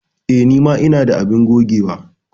Eh, ni ma ina da abin gogewa.